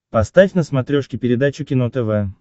поставь на смотрешке передачу кино тв